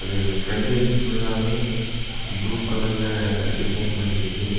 இது ஃபிரண்ட்டேஜ் ஃபுல்லாவே ப்ளூ கலர்ல அ டிசைன் பண்ணி இருக்கு.